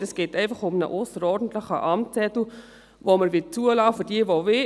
Es geht einfach um einen ausserordentlichen Amtszettel, den wir für jene zulassen möchten, die ihn wollen.